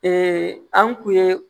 an kun ye